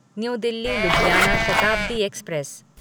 new Delhi Ludhiana Shatabdi express